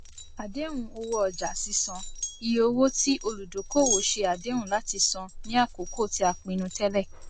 àdéhùnowóọjàsísan iye owó tí olùdókòwò ṣe àdéhùn láti san ní àkókò tí a pinnu tẹlẹ